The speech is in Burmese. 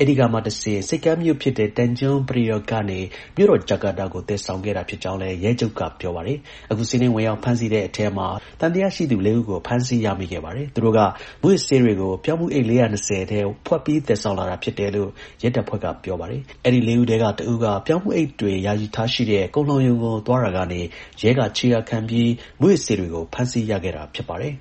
ဆိပ်ကမ်းမြို့ဖြစ်တဲ့ Tanjung Priok ကနေ မြို့တော် Jakarta ကို သယ်ဆောင်ခဲ့တာ ဖြစ်ကြောင်းလည်း ရဲချုပ်က ပြောပါတယ်။ အခု စီးနင်းဝင်ရောက်ဖမ်းဆီးတဲ့ အထဲမှာ သံသယရှိသူ ၄ ဦးဖမ်းဆီးရမိခဲ့ပါတယ်။ သူတို့က မူးယစ်ဆေးတွေကို ပြောင်းဖူး အိတ် ၄၂၀ အထဲ ဝှက်ပြီးသယ်ဆောင်လာတာဖြစ်တယ်လို့ ရဲတပ်ဖွဲ့က ပြောပါတယ်။ အဲဒီ လေးဦးထဲက တဦးက ပြောင်းဖူး အိတ်တွေ ယာယီထားရှိတဲ့ ကုန်လှောင်ရုံကို သွားတာကနေ ရဲက ခြေရာခံပြီး မူးယစ်ဆေးတွေကို ဖမ်းဆီးရခဲ့တာဖြစ် ပါတယ်